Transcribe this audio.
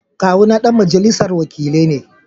Kawuna ɗan majalisar wakilai ne